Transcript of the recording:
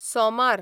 सोमार